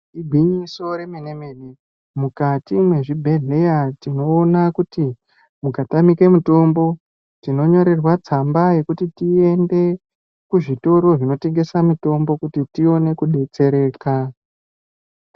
Igwinyiso remene mene mukati mezvibhedhlera tinoona kuti mukatamika mitombo tinonyorerwa mitombo iende kuzvitoro zvinotengesa mitombo kuti tione kudetsereka.